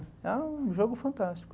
um jogo fantástico.